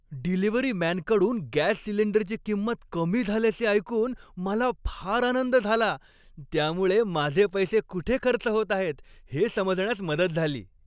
Delivery मॅनकडून gas सिलिंडरची किंमत कमी झाल्याचे ऐकून मला फार आनंद झाला. त्यामुळे माझे पैसे कुठे खर्च होत आहेत हे समजण्यास मदत झाली.